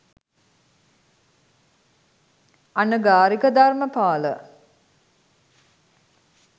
Anagarika Dharmapala